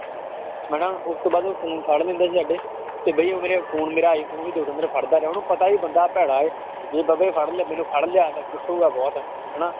ਹਨਾ ਉਸ ਤੋਂ ਬਾਅਦ ਉਹ phone ਫੜ ਲੈਂਦਾ ਸੀ ਸਾਡੇ ਤੇ ਬਾਈ ਉਹ ਮੇਰੇ iphone ਮੇਰਾ ਆਈਫ਼ੋਨ ਵੀ ਦੋ ਤਿੰਨ ਦਿਨ ਫੜਦਾ ਰਿਹਾ, ਉਹਨੂੰ ਪਤਾ ਵੀ ਬੰਦਾ ਭੈੜਾ ਇਹ ਫੜ ਲਿਆ ਮੈਨੂੰ ਫੜ ਲਿਆ ਇਹਨੇ, ਕੁਟੇਗਾ ਬਹੁਤ ਹਨਾ।